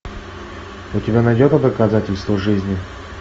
у тебя найдется доказательство жизни